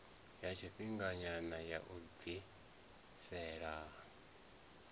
ya tshifhinganyana ya u bvisela